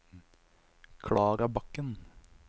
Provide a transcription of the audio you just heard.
Klara Bakken